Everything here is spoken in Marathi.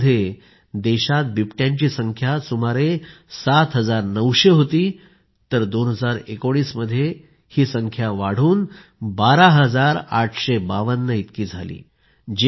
2014 मध्ये देशात बिबट्यांची संख्या सुमारे 7900 होती तर 2019 मध्ये ही संख्या वाढून 12852 झाली